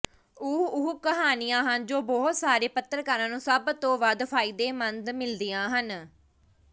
ਉਹ ਉਹ ਕਹਾਣੀਆਂ ਹਨ ਜੋ ਬਹੁਤ ਸਾਰੇ ਪੱਤਰਕਾਰਾਂ ਨੂੰ ਸਭ ਤੋਂ ਵੱਧ ਫ਼ਾਇਦੇਮੰਦ ਮਿਲਦੀਆਂ ਹਨ